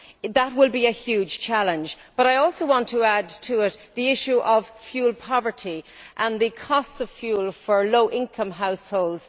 That will be a huge challenge, but I also want to add to it the issue of fuel poverty and the cost of fuel for low income households.